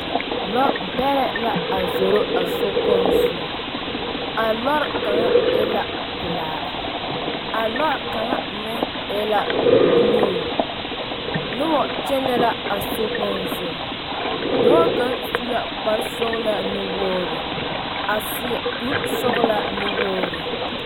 Lɔbɛrɛ la a zoro a sokpoŋ zu a lɔre kaŋa e la pelaa a lɔɛ kaŋa meŋ e la buluu a zoro a sokpoŋ zu dɔɔ kaŋ su la kpar sɔgelaa nuwoori a seɛ kuri sɔgelaa nuwoori